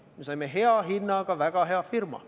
Me saime hea hinnaga väga hea firma.